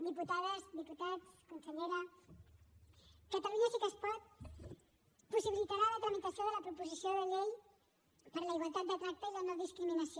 diputades diputats consellera catalunya sí que es pot possibilitarà la tramitació de la proposició de llei per a la igualtat de tracte i la no discriminació